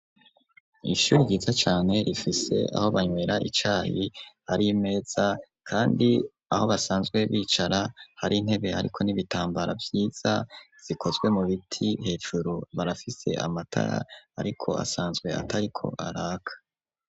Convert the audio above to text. Ishuri ryiza cane rifise aho banywera icayi hari imeza ,kandi aho basanzwe bicara hari intebe hariko n'ibitambara vyiza, zikozwe mu biti hejuru barafise amatara ariko asanzwe atariko araka.